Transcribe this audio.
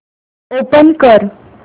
open कर